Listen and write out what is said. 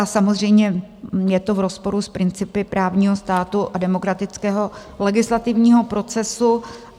A samozřejmě je to v rozporu s principy právního státu a demokratického legislativního procesu.